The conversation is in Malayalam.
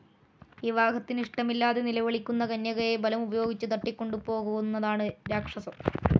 വിവാഹത്തിനിഷ്ടമില്ലാതെ നിലവിളിക്കുന്ന കന്യകയെ ബലമുപയോഗിച്ചു തട്ടിക്കൊുപോകുന്നതാണ് രാക്ഷസം.